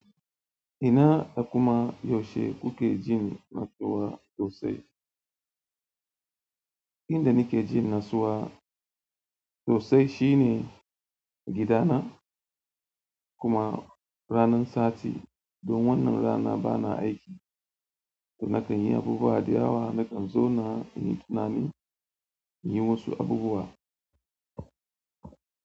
Ina da kuma yaushe kuke jin natsuwa sosai? Inda nake jin natsuwa sosai shine gidana kuma ranar sati, don wannan rana bana aiki. To na kan yi abubuwa da yawa, na kan zona in yi tunani, in yi wasu abubuwa.